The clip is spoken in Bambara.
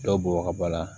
Dɔ bɔ ka bɔ a la